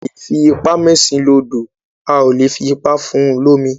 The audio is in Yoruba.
A lè fi ipá mẹ́ṣin lodò, A ò lè fi ipá fún un lómi.